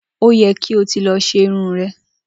Ó ye̩ kí o ti lo̩ s̩e irun re̩